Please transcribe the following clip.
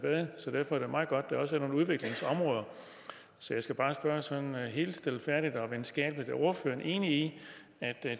derfor er det meget godt at der også er nogle udviklingsområder så jeg skal bare spørge sådan helt stilfærdigt og venskabeligt er ordføreren enig i at